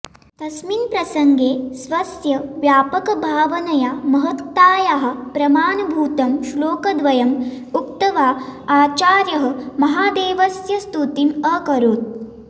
तस्मिन् प्रसङ्गे स्वस्य व्यापकभावनया महत्तायाः प्रमाणभूतं श्लोकद्वयम् उक्त्वा आचार्यः महादेवस्य स्तुतिम् अकरोत्